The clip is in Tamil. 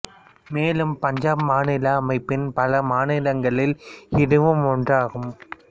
மேலும் பஞ்சாப் மாநில அமைப்பின் பல மாநிலங்களில் இதுவும் ஒன்றாகும்